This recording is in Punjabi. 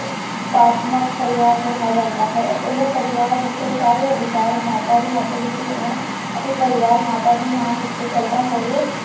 ਪਰਿਵਾਰ ਕਿਹਾ ਜਾਂਦਾ ਹੈ ਉਹ ਪਰਿਵਾਰ ਜਿੱਥੇ ਸਾਰੇ ਅਧਿਕਾਰ ਮਾਤਾ ਦੇ ਹੱਥ ਵਿਚ ਹੋਣ ਅਤੇ ਪਰਿਵਾਰ ਮਾਤਾ ਦੇ ਨਾਮ ਉੱਤੇ ਚਲਦਾ ਹੋਵੇ